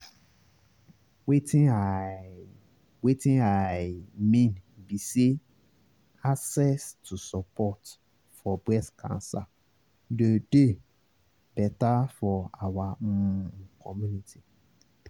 wetin i wetin i mean be say access to support for breast cancer doh dey better for our um community